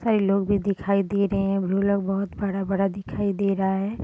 कई लोग भी दिखाई दे रहे हैं ढोलक बड़ा-बड़ा दिखाई दे रहा है।